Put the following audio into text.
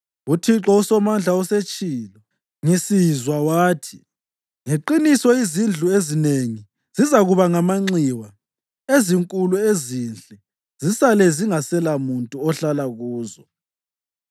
UThixo uSomandla usetshilo ngisizwa wathi: “Ngeqiniso izindlu ezinengi zizakuba ngamanxiwa; ezinkulu ezinhle zisale zingaselamuntu ohlala kuzo.